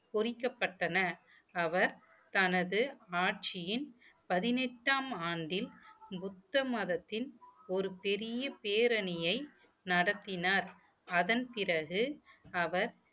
பொறிக்கப்பட்டன அவர் தனது ஆட்சியின் பதினெட்டாம் ஆண்டில் புத்த மதத்தின் ஒரு பெரிய பேரணியை நடத்தினார் அதன் பிறகு அவர்